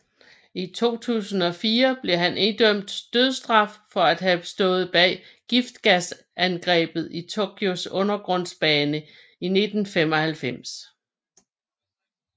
I 2004 blev han idømt dødsstraf for at have stået bag giftgasangrebet i Tokyos undergrundsbane 1995